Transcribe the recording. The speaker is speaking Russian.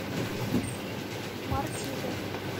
мартида